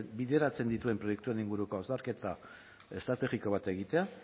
bideratzen dituen proiektuen inguruko hausnarketa estrategiko bat egitea